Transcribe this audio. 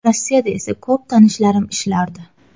Rossiyada esa ko‘p tanishlarim ishlardi.